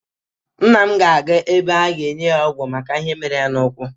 Nna m ga-aga ebe a ga-enye ya ọgwụ maka ihe mere ya n'ụ́kwụ́.